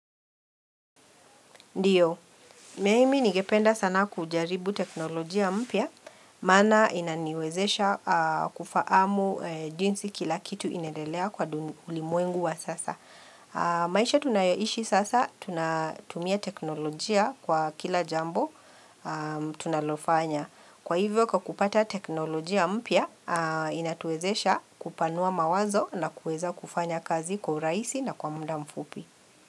Ndiyo, mimi ningependa sana kujaribu teknolojia mpya, maana inaniwezesha kufaamu jinsi kila kitu inaendelea kwa ulimwengu wa sasa. Maisha tunayoishi sasa, tunatumia teknolojia kwa kila jambo tunalofanya. Kwa hivyo kwa kupata teknolojia mpya, inatuwezesha kupanua mawazo na kueza kufanya kazi kwa uraisi na kwa mda mfupi.